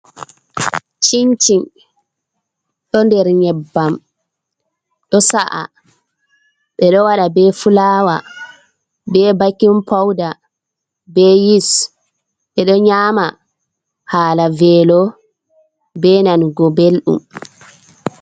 Cincin ɗo nder nyebbam, ɗo sa’a, ɓeɗo waɗa be fulawa be bakin pawda be yis, ɓeɗo nyama hala velo ɓe nanugo belɗum.